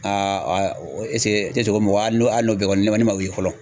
mɔgɔ fɔlɔ.